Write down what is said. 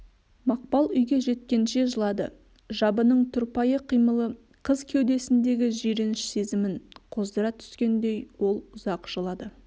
мақпал үйге жеткенше жылады жабының тұрпайы қимылы қыз кеудесіндегі жиреніш сезімін қоздыра түскендей ол ұзақ жылады